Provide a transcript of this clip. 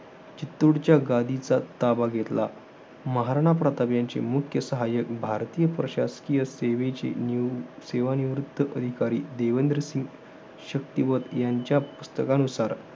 चित्तूरच्या गादीचा ताबा घेतला. महाराणा प्रताप यांचे मुख्य सहाय्यक भारतीय, प्रशासकीय सेवेचे निव~ सेवानिवृत्त अधिकारी, देवेंद्रसिंग शक्तीवत यांच्या पुस्तकानुसार